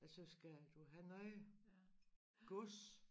Ja så skal du have noget gods